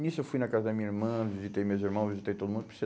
Nisso eu fui na casa da minha irmã, visitei meus irmãos, visitei todo mundo.